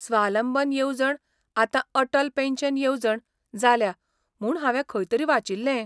स्वालंबन येवजण आतां अटल पॅन्शन येवजण जाल्या म्हूण हांवें खंय तरी वाचिल्लें?